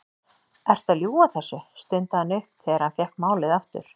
Ertu að ljúga þessu? stundi hann upp þegar hann fékk málið aftur.